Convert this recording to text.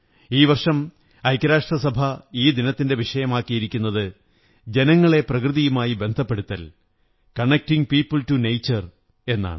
ഈ വര്ഷം് ഐക്യരാഷ്ട്ര സഭ ഈ ദിനത്തിന്റെ വിഷയമാക്കിയിരിക്കുന്നത് ജനങ്ങളെ പ്രകൃതിയുമായി ബന്ധപ്പെടുത്തൽ കണക്ടിംഗ് പീപിൾ ടു നേചർ എന്നാണ്